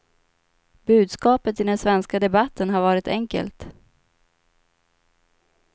Budskapet i den svenska debatten har varit enkelt.